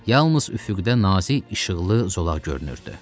Yalnız üfüqdə nazik işıqlı zolaq görünürdü.